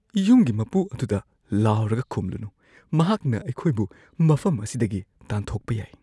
ꯌꯨꯝꯒꯤ ꯃꯄꯨ ꯑꯗꯨꯗ ꯂꯥꯎꯔꯒ ꯈꯨꯝꯂꯨꯅꯨ꯫ ꯃꯍꯥꯛꯅ ꯑꯩꯈꯣꯏꯕꯨ ꯃꯐꯝ ꯑꯁꯤꯗꯒꯤ ꯇꯥꯟꯊꯣꯛꯄ ꯌꯥꯏ꯫